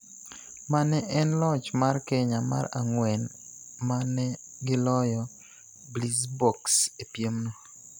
Ma ne en loch mar Kenya mar ang'wen ma ne giloyo Blitzboks e piemno.